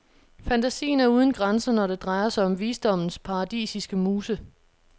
Fantasien er uden grænser, når det drejer sig om visdommens paradisiske muse.